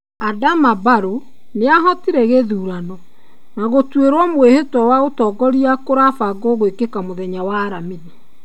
Adama Barrow niahotire githurano, na gũtuĩrũo mwĩhĩtwa wa ũtongoria kũrabangwo gũĩkĩka mũthenya wa aramithi.